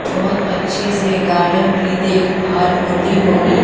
बहोत अच्छे से गार्डन की देखभाल होती होगी।